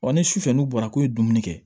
ni su fɛ n'u bɔra k'u ye dumuni kɛ